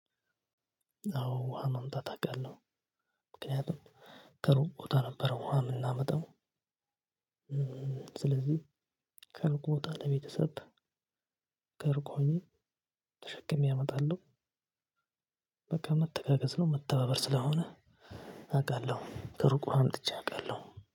አወ ውሃ ማምጣት አውቃለሁ። ምክኔቱም ከሩቅ ቦታ ነበረ ውሃ የምናመጣው። ስለዚህ ከሩቅ ቦታ ለቤተሰብ ከሩቅ ሆኘ ተሸክሜ አመጣለሁ። በቃ መተጋገዝ ነው መተባበር ስለሆነ አቃለሁ። ከሩቅ ውሃ አምጥቼ አውቃለሁ።